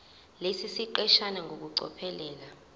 lesi siqeshana ngokucophelela